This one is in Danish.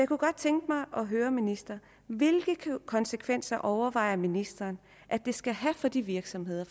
kunne godt tænke mig at høre ministeren hvilke konsekvenser overvejer ministeren at det skal have for de virksomheder